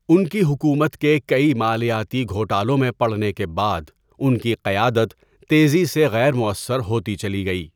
ان کی حکومت کے کئی مالیاتی گھوٹالوں میں پڑنے کے بعد، ان کی قیادت تیزی سے غیر موثر ہوتی چلی گئی۔